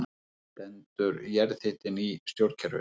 Stendur jarðhitinn í stjórnkerfinu